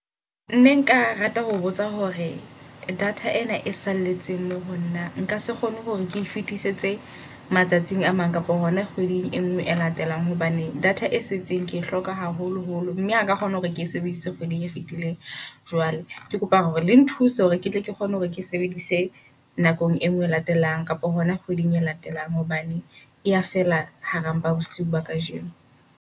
Ne nka rata ho botsa hore data ena e salletseng mo honna. Nka se kgone hore ke fetisetse matsatsing a mang kapa hona kgweding e ngwe e latelang. Hobane data e setseng ke e hloka haholoholo mme haka kgona hore ke sebedisitse kgweding e fetileng. Jwale ke kopa hore le nthuse hore ketle ke kgone hore ke sebedise nakong e ngwe e latelang kapa hona kgweding e latelang. Hobane eya fela hara mpa bosiung ba kajeno.